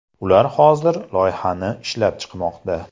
Ular hozir loyihani ishlab chiqmoqda.